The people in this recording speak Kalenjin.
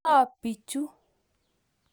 ng'o bichu?